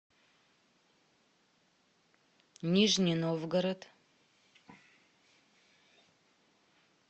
нижний новгород